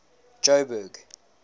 joburg